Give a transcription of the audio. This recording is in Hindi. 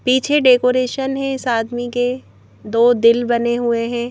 पीछे डेकोरेशन है इस आदमी के दो दिल बने हुए हैं।